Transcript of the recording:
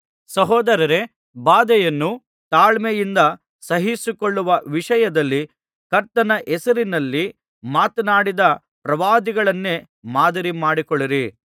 ಸಹೋದರರೇ ಬಾಧೆಯನ್ನು ತಾಳ್ಮೆಯಿಂದ ಸಹಿಸಿಕೊಳ್ಳುವ ವಿಷಯದಲ್ಲಿ ಕರ್ತನ ಹೆಸರಿನಲ್ಲಿ ಮಾತನಾಡಿದ ಪ್ರವಾದಿಗಳನ್ನೇ ಮಾದರಿ ಮಾಡಿಕೊಳ್ಳಿರಿ